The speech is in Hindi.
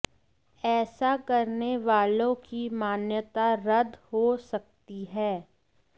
ऐसा करने वालों की मान्यता रद्द हो सकती है